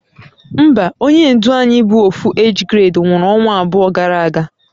Mba, onye ndu Ayi bu Ofu age grade nwuru onwa abuo gara aga